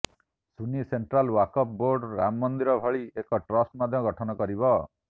Sunni central Waqf board Ram Mandir ଭଳି ଏକ trust ମଧ୍ୟ ଗଠନ କରିବ